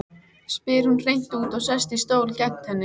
spyr hún hreint út og sest í stól gegnt henni.